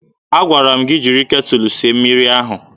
Agwara m gị jiri ketụlụ sie mmiri ahụ!